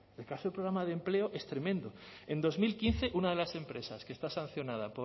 el caso del programa de empleo es tremendo en dos mil quince una de las empresas que está sancionada